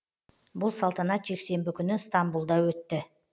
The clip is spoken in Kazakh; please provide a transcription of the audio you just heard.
бұл салтанат жексенбі күні стамбұлда өтті